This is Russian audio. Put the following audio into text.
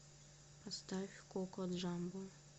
поставь коко джамбо